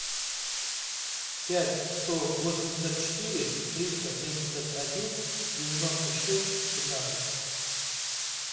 пять сто восемьдесят четыре триста семьдесят один девяносто шесть семнадцать